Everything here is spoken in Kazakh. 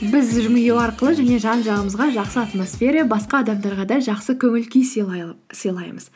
біз жымию арқылы және жан жағымызға жақсы атмосфера басқа адамдарға да жақсы көңіл күй сыйлаймыз